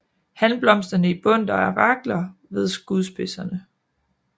Hanblomsterne i bundter af rakler ved skudspidserne